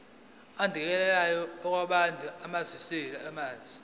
adingekayo kwabaphethe ezamanzi